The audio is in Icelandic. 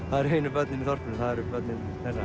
það eru einu börnin í þorpinu það eru börnin þeirra